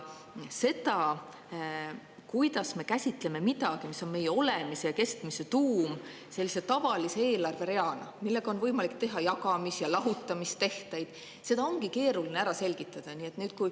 Seda, kuidas me käsitleme midagi, mis on meie olemise ja kestmise tuum, sellise tavalise eelarvereana, millega on võimalik teha jagamis- ja lahutamistehteid, ongi keeruline selgitada.